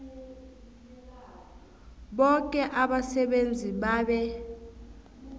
boke abasebenzi babe